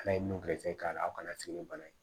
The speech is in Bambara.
Ala ye nun gɛrɛsɛgɛ k'a la aw kana sigi ni bana ye